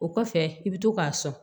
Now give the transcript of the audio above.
O kɔfɛ i bɛ to k'a sɔn